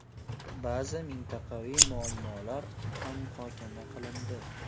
Ba’zi mintaqaviy muammolar ham muhokama qilindi.